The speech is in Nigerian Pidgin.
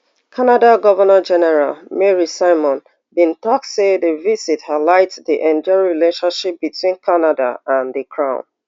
canada governor general mary simon bin tok say di visit highlight di enduring relationship between canada and di crown